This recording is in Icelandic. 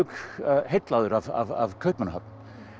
heillaður af Kaupmannahöfn